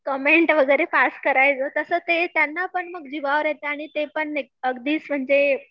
comment वगैरे पास करायचो तसं ते त्यांना पण मग ते जिवावर येतं आणि ते पण अगदीच म्हणजे